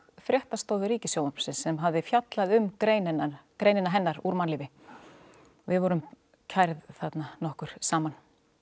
fréttastofu Ríkissjónvarpsins sem hafði fjallað um greinina greinina hennar úr mannlífi við vorum kærð þarna nokkur saman